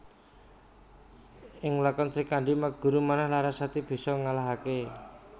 Ing lakon Srikandhi Maguru Manah Larasati bisa ngalahake